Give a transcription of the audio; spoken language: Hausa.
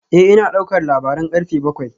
Eh ina daukar labaran karfe bakwai